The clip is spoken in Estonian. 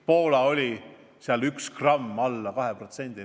Poola näitaja oli üks gramm alla 2%.